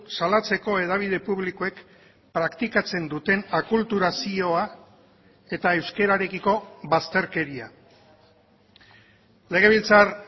salatzeko hedabide publikoek praktikatzen duten akulturazioa eta euskararekiko bazterkeria legebiltzar